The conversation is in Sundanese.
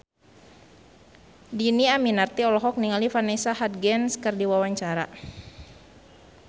Dhini Aminarti olohok ningali Vanessa Hudgens keur diwawancara